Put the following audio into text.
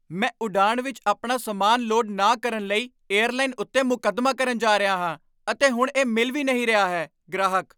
ਮੈਂ ਉਡਾਣ ਵਿੱਚ ਆਪਣਾ ਸਮਾਨ ਲੋਡ ਨਾ ਕਰਨ ਲਈ ਏਅਰਲਾਈਨ ਉੱਤੇ ਮੁਕੱਦਮਾ ਕਰਨ ਜਾ ਰਿਹਾ ਹਾਂ ਅਤੇ ਹੁਣ ਇਹ ਮਿਲ ਵੀ ਨਹੀਂ ਰਿਹਾ ਹੈ ਗ੍ਰਾਹਕ